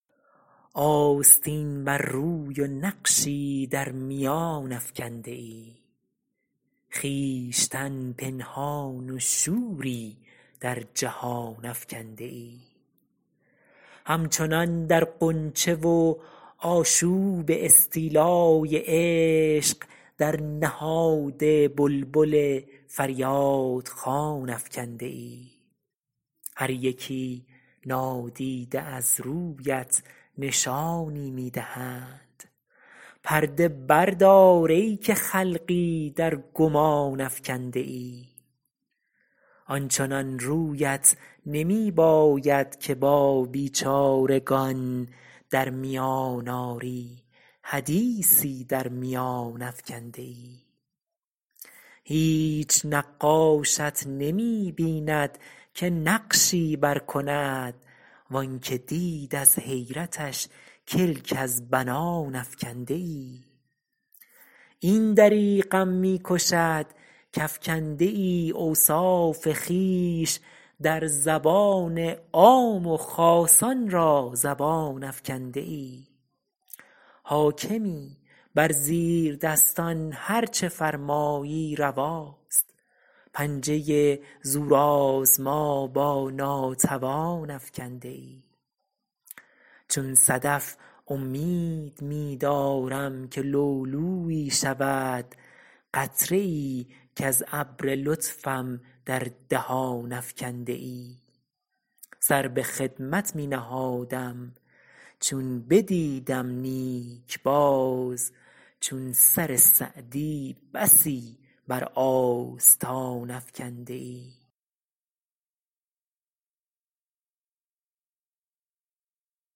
آستین بر روی و نقشی در میان افکنده ای خویشتن پنهان و شوری در جهان افکنده ای همچنان در غنچه و آشوب استیلای عشق در نهاد بلبل فریاد خوان افکنده ای هر یکی نادیده از رویت نشانی می دهند پرده بردار ای که خلقی در گمان افکنده ای آنچنان رویت نمی باید که با بیچارگان در میان آری حدیثی در میان افکنده ای هیچ نقاشت نمی بیند که نقشی بر کند و آنکه دید از حیرتش کلک از بنان افکنده ای این دریغم می کشد کافکنده ای اوصاف خویش در زبان عام و خاصان را زبان افکنده ای حاکمی بر زیردستان هر چه فرمایی رواست پنجه زورآزما با ناتوان افکنده ای چون صدف امید می دارم که لؤلؤیی شود قطره ای کز ابر لطفم در دهان افکنده ای سر به خدمت می نهادم چون بدیدم نیک باز چون سر سعدی بسی بر آستان افکنده ای